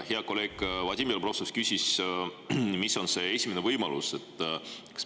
Hea kolleeg Vadim Belobrovtsev küsis, mis on see esimene võimalus.